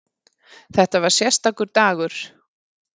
Þetta var sérstakur dagur.